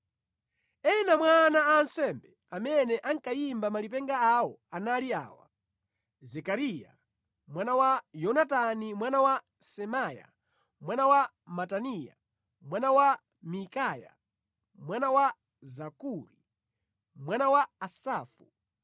Ena mwa ana a ansembe amene ankayimba malipenga awo anali awa: Zekariya mwana wa Yonatani mwana wa Semaya mwana wa Mataniya, mwana wa Mikaya, mwana wa Zakuri, mwana wa Asafu,